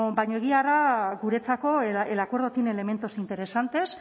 baina egia da guretzako el acuerdo tiene elementos interesantes